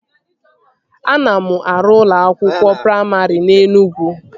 Ana m arụ ụlọ akwụkwọ praimarị na Enugwu